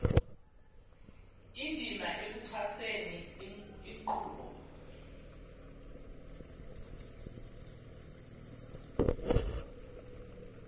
indima ekuxhaseni inkqubo